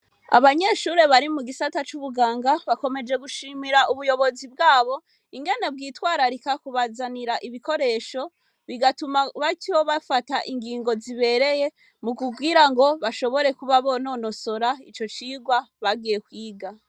Abanyeshure bari mu gisata c'ubuganga, bakomeje gushimira ubuyobozi bwabo ingene bitwararika kubazanira ibikoresho, bigatuma batyo bafata ingingo zibereye mu kugirango bashobore kuba bononosora ivyigwa bagiye kwiga.